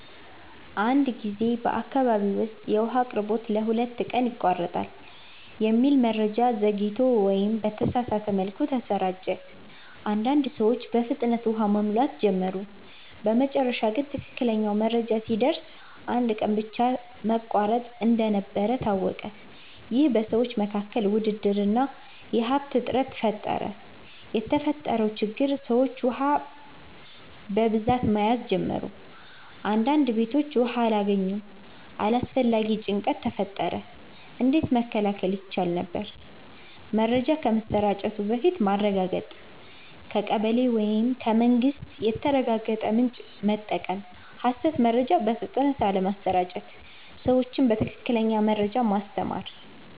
አንድ ጊዜ በአካባቢ ውስጥ “የውሃ አቅርቦት ለሁለት ቀን ይቋረጣል” የሚል መረጃ ዘግይቶ ወይም በተሳሳተ መልኩ ተሰራጨ። አንዳንድ ሰዎች በፍጥነት ውሃ መሙላት ጀመሩ በመጨረሻ ግን ትክክለኛው መረጃ ሲደርስ አንድ ቀን ብቻ መቋረጥ እንደነበር ታወቀ ይህ በሰዎች መካከል ውድድር እና የሀብት እጥረት ፈጠረ የተፈጠረው ችግር ሰዎች ውሃ በብዛት መያዝ ጀመሩ አንዳንድ ቤቶች ውሃ አላገኙም አላስፈላጊ ጭንቀት ተፈጠረ እንዴት መከላከል ይቻል ነበር? መረጃ ከመሰራጨቱ በፊት ማረጋገጥ ከቀበሌ ወይም ከመንግስት የተረጋገጠ ምንጭ መጠቀም ሐሰት መረጃ በፍጥነት አለመስራጨት ሰዎችን በትክክለኛ መረጃ ማስተማር